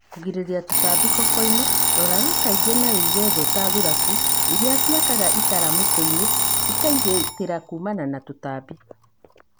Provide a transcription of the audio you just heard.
Kũgirĩrĩria tũtambi kokoinĩ, roraga kaingĩ na wĩige thũũ ta thuraku irĩciakaga itara mitĩinĩ cikagitĩra kumana na tũtambi.